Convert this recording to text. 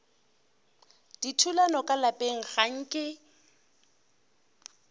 dithulano ka lapeng ga nke